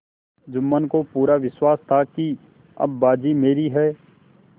जुम्मन को पूरा विश्वास था कि अब बाजी मेरी है